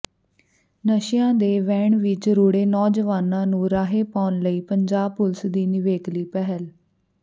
ਨਸ਼ਿਆਂ ਦੇ ਵਹਿਣ ਵਿਚ ਰੁੜ੍ਹੇ ਨੌਜਵਾਨਾਂ ਨੂੰ ਰਾਹੇ ਪਾਉਣ ਲਈ ਪੰਜਾਬ ਪੁਲਿਸ ਦੀ ਨਿਵੇਕਲੀ ਪਹਿਲ